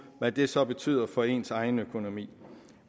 hvad det så betyder for ens egen økonomi